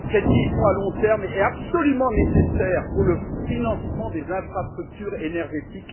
cette vision à long terme est absolument nécessaire pour le financement des infrastructures énergétiques.